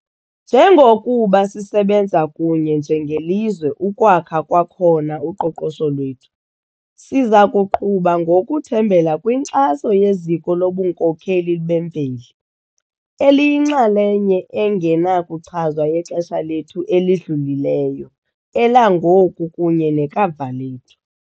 Njengokuba sisebenza kunye njengelizwe ukwakha kwakhona uqoqosho lwethu, sizakuqhuba ngokuthembela kwinkxaso yeziko lobunkokheli bemveli, eliyinxalenye engenakuchazwa yexesha lethu elidlulileyo, elangoku kunye nekamva lethu.